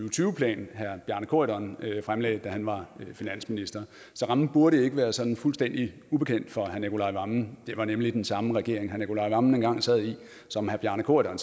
og tyve plan herre bjarne corydon fremlagde da han var finansminister så rammen burde ikke være sådan fuldstændig ubekendt for herre nicolai wammen det var nemlig den samme regering herre nicolai wammen engang sad i som herre bjarne corydon